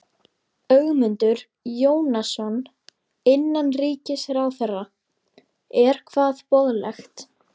Ögmundur Jónasson, innanríkisráðherra: Er hvað boðlegt?